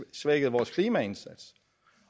svækket vores klimaindsats